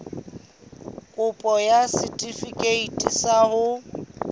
kopo ya setefikeiti sa ho